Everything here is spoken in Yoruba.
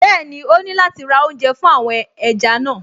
Bẹ́ẹ̀ni, ó ní láti ra oúnjẹ fún àwọn ẹja náà